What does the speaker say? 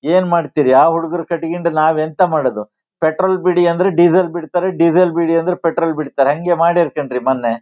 ಏನ್ ಮಾಡ್ತಿರ್ ಯಾವ್ ಹುಡ್ಗರ್ ಕಟ್ಕೊಂಡು ನಾವ್ ಎಂತ ಮಾಡೋದು. ಪೆಟ್ರೋಲ್ ಬಿಡಿ ಅಂದ್ರೆ ಡೀಸೆಲ್ ಬಿಡ್ತಾರೆ ಡೀಸೆಲ್ ಬಿಡಿ ಅಂದ್ರೆ ಪೆಟ್ರೋಲ್ ಬಿಡ್ತಾರೆ ಹಂಗೆ ಮಡ್ಯಾರ್ ಕಣ್ರೀ ಮನ್ನೆ.